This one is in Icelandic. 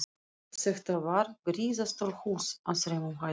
Þetta var gríðarstórt hús á þremur hæðum.